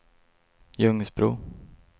Ljungsbro